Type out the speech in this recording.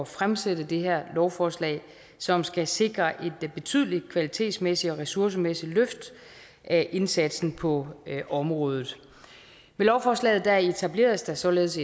fremsætte det her lovforslag som skal sikre et betydeligt kvalitetsmæssigt og ressourcemæssigt løft af indsatsen på området med lovforslaget etableres der således